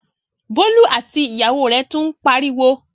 Bólú àti ìyàwó rẹ̀ tún ń pariwo?